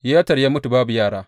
Yeter ya mutu babu yara.